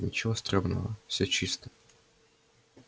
ничего стремного все чисто